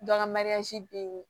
Dɔ ka bɛ yen